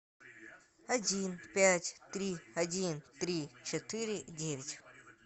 один пять три один три четыре девять